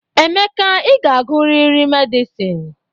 Emeka, ị ga-agụrịrị medịsịn